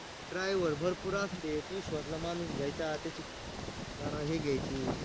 driver भरपूर असते विश्वासातला माणूस घ्यायचा त्याची जरा हे, घ्यायची